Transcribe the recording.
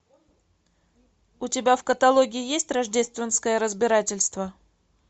у тебя в каталоге есть рождественское разбирательство